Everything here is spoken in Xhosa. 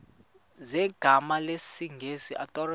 zegama lesngesn authorit